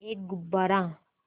एक गुब्बारा